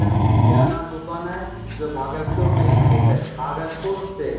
यह एक किराना दुकान है जो भागलपुर में स्थित है भागलपुर से --